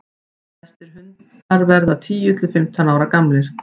flestir hundar verða tíu til fimmtán ára gamlir